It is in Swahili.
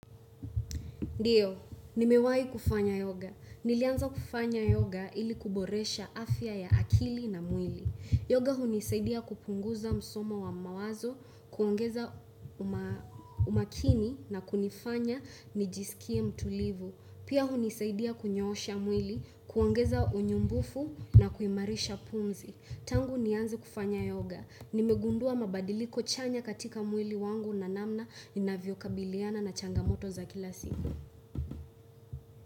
Ndiyo, nimewahi kufanya yoga. Nilianza kufanya yoga ili kuboresha afya ya akili na mwili. Yoga hunisaidia kupunguza msomo wa mawazo, kuongeza umakini na kunifanya nijisikie mtulivu. Pia hunisaidia kunyoosha mwili, kuongeza unyumbufu na kuimarisha pumzi. Tangu nianze kufanya yoga. Nimegundua mabadiliko chanya katika mwili wangu na namna ninavyo kabiliana na changamoto za kila siku.